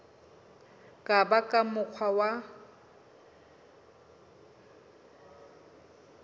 ka ba ka mokgwa wa